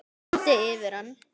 Það þyrmdi yfir hann.